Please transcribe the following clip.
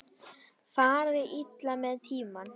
Fari illa með tímann.